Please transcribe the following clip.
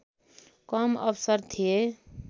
कम अवसर थिए